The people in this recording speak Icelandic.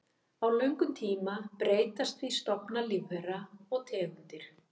Á löngum tíma breytast því stofnar lífvera og tegundir.